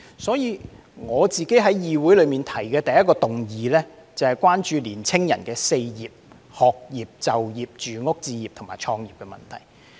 所以，我在議會提出的第一項議案是關注青年人的 "4 業"，即學業、就業、住屋置業和創業的問題。